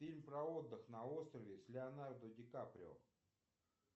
фильм про отдых на острове с леонардо ди каприо